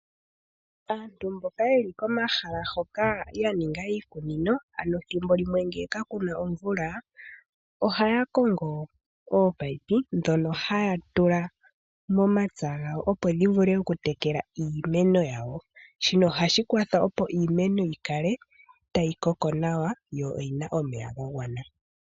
Aantu mboka yeli komahala hoka yaninga iikunino ano thimbo limwe ngele kakuna omvula ohaya kongo oopayipi ndhoka haatula momapya opo dhivule okutekela iimeno, shino ohashi kwathele iimeno yikale tayi koko nawa yo oyina omeya gagwana.